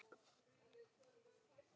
Hann er mikið í mér.